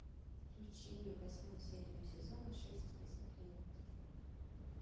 включи восьмую серию сезона шесть список клиентов